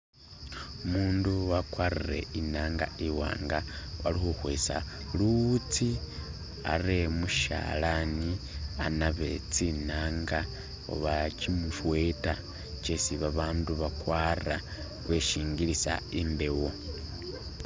Umundu wakwarire inanga iwanga ali khukhwesa luwutsi are mushalani anabe tsinanga oba kyimisweta kyesi babandu bakwara weshingilisha imbewo.